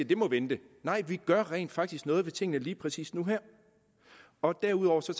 det må vente nej vi gør rent faktisk noget ved tingene lige præcis nu og her og derudover tager